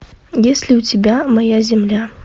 есть ли у тебя моя земля